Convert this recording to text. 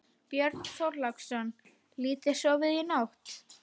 Björn Þorláksson: Lítið sofið í nótt?